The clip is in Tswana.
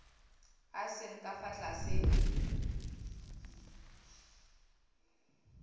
a seng ka fa tlase